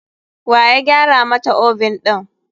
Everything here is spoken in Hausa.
Waya gyara mata oven ɗin?